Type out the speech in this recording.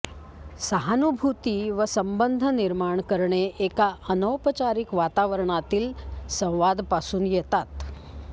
सहानुभूती व संबंध निर्माण करणे एका अनौपचारिक वातावरणातील संवाद पासून येतात